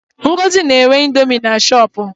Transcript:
Ngozi na-ere indomi na shọpu.